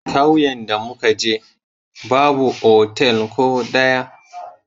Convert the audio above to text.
Kauyen da mu ka je, babu otal ko daya.